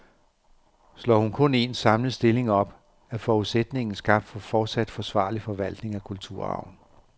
Slår hun kun en, samlet stilling op, er forudsætningen skabt for fortsat forsvarlig forvaltning af kulturarven.